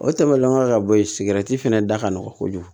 O tɛmɛnen kɔ ka bɔ yen sigɛrɛti fɛnɛ da ka nɔgɔn kojugu